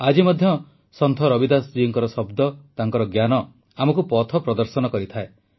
ଆଜି ମଧ୍ୟ ସନ୍ଥ ରବିଦାସ ଜୀଙ୍କ ଶବ୍ଦ ତାଙ୍କର ଜ୍ଞାନ ଆମକୁ ପଥପ୍ରଦର୍ଶନ କରିଥାଏ